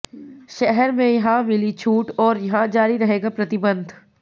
शहर में यहां मिली छूट और यहां जारी रहेगा प्रतिबंध